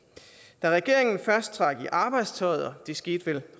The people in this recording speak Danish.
da regeringen først trak i arbejdstøjet og det skete vel